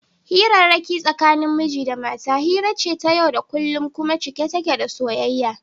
Hirarrake tsakanin miji da mata hira ce ta yau da kullum kuma cike take da soyayya.